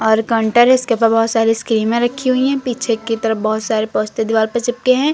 और काउंटर है इसके पे बहुत सारी स्कीमें रखी हुई हैं पीछे की तरफ बहुत सारे पोस्टर दीवार पर चिपके हैं।